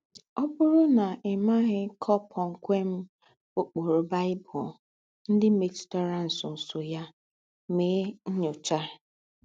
Ọ̀ bụ́rù ná í mághì kọ̀pọ̀mkwèm úkpùrù Baị́bụ̀l ńdị́ métùrà ńsọ̀nsọ̀ yà, mèè nnyóchà.